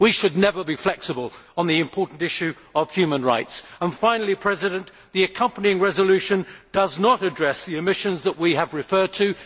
We should never be flexible on the important issue of human rights. Finally, the accompanying resolution does not address the omissions that we have referred to.